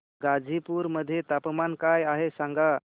गाझीपुर मध्ये तापमान काय आहे सांगा